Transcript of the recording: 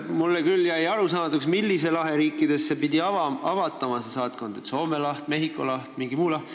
Mulle jäi küll arusaamatuks, millise lahe riikidesse pidi avatama saatkond – kas see on Soome laht, Mehhiko laht või mingi muu laht.